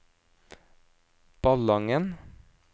Ballangen